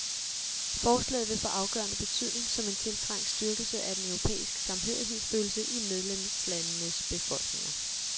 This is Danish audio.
Forslaget vil få afgørende betydning, som en tiltrængt styrkelse af den europæiske samhørighedsfølelse i medlemslandenes befolkninger.